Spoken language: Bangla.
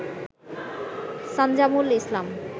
সানজামুল ইসলাম